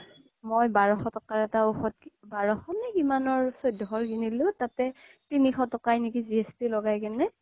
মই বাৰশ টকাৰ এটা ঔষধ বাৰশ নে কিমানৰ চৈধ্যশ কিনিলো তাতে তিনিশ টকা নেকি GST লগাই কিনে